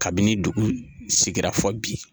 Kabini dugu sigira fo bi